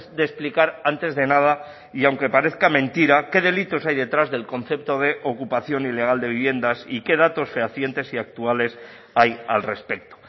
de explicar antes de nada y aunque parezca mentira qué delitos hay detrás del concepto de ocupación ilegal de viviendas y qué datos fehacientes y actuales hay al respecto